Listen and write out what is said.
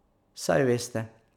Saj veste.